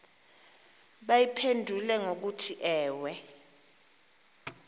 bayiphendule ngokuthi ewe